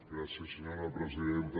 gràcies senyora presidenta